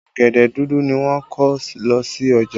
Ọ̀gẹ̀dẹ̀ dúdú ni wọ́n kó lọ sí ọjà